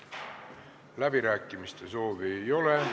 Läbirääkimiste soovi ei ole.